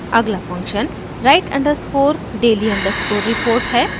अगला function write underscore daily underscore report है